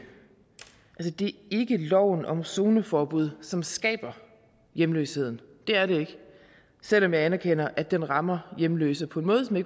loven om zoneforbud som skaber hjemløsheden det er det ikke selv om jeg anerkender at den rammer hjemløse på en måde